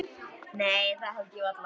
Nei það held ég varla.